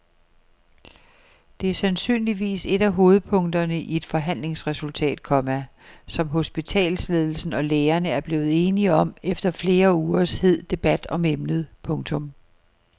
Det er sandsynligvis et af hovedpunkterne i et forhandlingsresultat, komma som hospitalsledelsen og lægerne er blevet enige om efter flere ugers hed debat om emnet. punktum